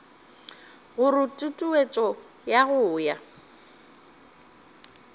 gore tutuetšo ya go ya